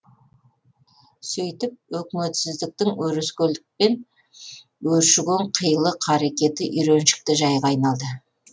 сөйтіп өкіметсіздіктің өрескелдікпен өршіген қилы қаракеті үйреншікті жайға айналды